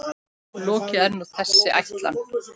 Lokið er nú þessi ætlan.